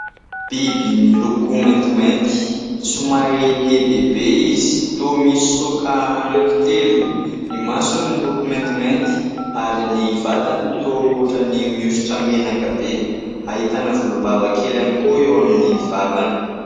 Biby miloko maintimainty somary lehibehibe izy toa misy saoka anankitelo. Ny masony miloko maintimainty ary ny vatany toa ohatrany miosotra menaka be. Ahitana volombava kely ihany koa eo amin'ny vavany.